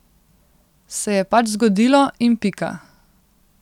Se je pač zgodilo, in pika.